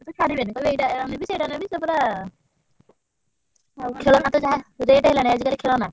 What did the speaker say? ସିଏ ତ ଛାଡ଼ିବେନି କହିବେ ଏଇଟା ନେବି ସେଇଟା ନେବି ସେ ପୁରା। ଆଉ ଖେଳନା ତ ଯାହା rate ହେଲାଣି ଆଜି କାଲି ଖେଳନା।